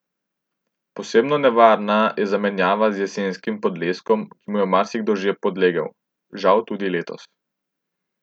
Posebno nevarna je zamenjava z jesenskim podleskom, ki mu je marsikdo že podlegel, žal tudi letos.